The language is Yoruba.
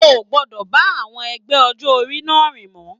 O o gbọdọ bá àwọn ẹgbẹ́ ọjọ orí náà rìn mọ!